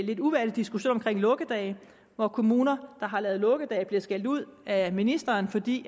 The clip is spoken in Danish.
lidt uværdig diskussion lukkedage hvor kommuner der har lavet lukkedage bliver skældt ud af ministeren fordi